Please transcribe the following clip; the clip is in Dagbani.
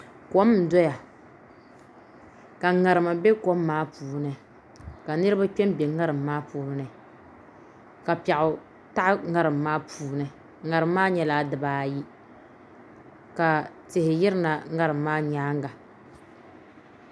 Kom n doya ka ŋarima bɛ kom maa puuni ka niraba kpɛ n bɛ ŋarim maa puuni ka piɛɣu taɣi ŋarim maa puuni ŋarim nyɛla dibaayi ka tihi yirina ŋarim maa nyaanga